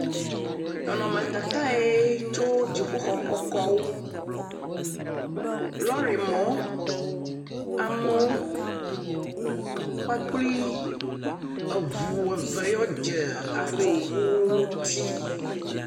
Nɔnɔmetata ye tso dziƒoxɔ kɔkɔwo. Lɔɖi mɔ. Amewo kpakple eŋu eve yewo dze afɔku ŋuti.